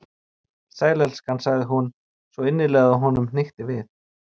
Sæll, elskan sagði hún, svo innilega að honum hnykkti við.